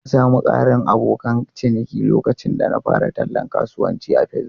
Na sami ƙarin abokan ciniki lokacin da na fara tallan kasuwancin a Facebook.